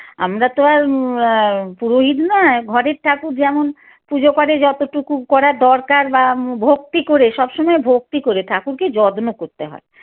আমরা তো আর এর পুরোহিত নয় ঘরের ঠাকুর যেমন পুজো করে যতটুকু করার দরকার বা উম ভক্তি করে সবসময় ভক্তি করে ঠাকুরকে যত্ন করতে হয়